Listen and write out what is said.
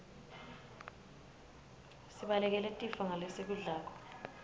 sibalekele tifo ngalesikudlako